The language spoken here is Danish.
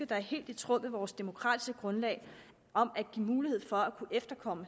det er helt i tråd med vores demokratiske grundlag at give mulighed for at kunne efterkomme